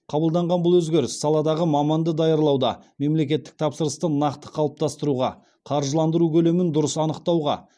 қабылданған бұл өзгеріс саладағы маманды даярлауда мемлекеттік тапсырысты нақты қалыптастыруға қаржыландыру көлемін дұрыс анықтауға